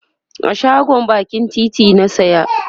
a shagon bakin titi na saya